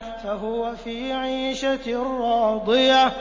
فَهُوَ فِي عِيشَةٍ رَّاضِيَةٍ